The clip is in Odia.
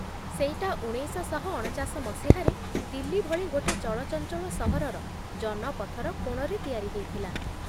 ସେଇଟା ଉଣେଇଶଶହ ଅଣଚାଶ ମସିହାରେ ଦିଲ୍ଲୀ ଭଳି ଗୋଟେ ଚଳଚଞ୍ଚଳ ସହରର ଜନପଥର କୋଣରେ ତିଆରି ହେଇଥିଲା ।